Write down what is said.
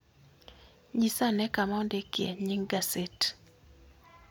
Nyisa ane kama ondikie nying gaset